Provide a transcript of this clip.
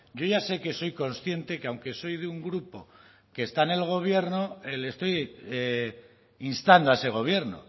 yo ya sé que soy consciente que aunque soy de un grupo que está en el gobierno le estoy instando a ese gobierno